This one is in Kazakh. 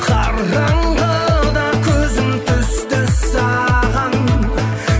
қараңғыда көзім түсті саған